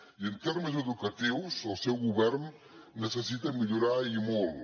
i en termes educatius el seu govern necessita millorar i molt